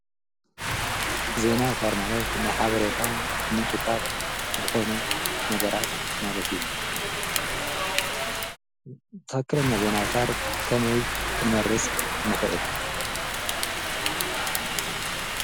ዘይናውታር ማለት ንሓበሬታ ምንጭታት ዝኾኑ ነገራት ማለት እዩ ተኸክለኛ ዘይናውታር ከመይ ኽንመርስ ንኽእል።